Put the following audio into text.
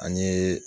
An ye